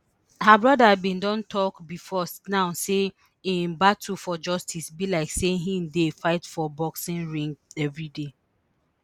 her brother bin don tok bifor now say im battle for justice be like say im dey fight for boxing ring evriday